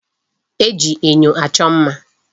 E ji enyo achọ mma.